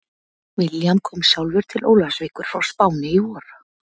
William kom sjálfur til Ólafsvíkur frá Spáni í vor.